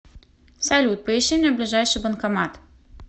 салют поищи мне ближайший банкомат